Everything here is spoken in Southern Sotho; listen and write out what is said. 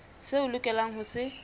seo o lokelang ho se